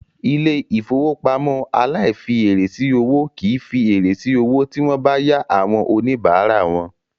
Ilé-ìfowópamọ́ aláìfièrè sí owó kì í fi èrè sí owó sí wọ́n bá yá àwọn oníbàárà wọn.